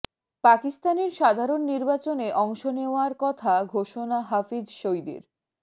পাকিস্তানের সাধারণ নির্বাচনে অংশ নেওয়ার কথা ঘোষণা হাফিজ সইদের